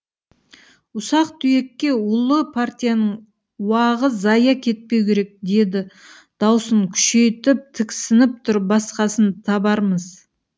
ұсақ түйекке ұлы партияның уағы зая кетпеу керек деді даусын күшейтіп тіксініп тұрып басқасын табармыз